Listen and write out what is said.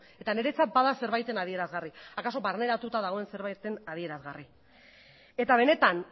eta niretzat bada zerbaiten adierazgarri akaso barneratua dagoen zerbaiten adierazgarri eta benetan